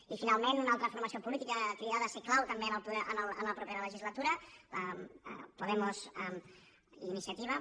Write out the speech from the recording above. i finalment una altra formació política cridada a ser clau també en la propera legislatura podemos i iniciativa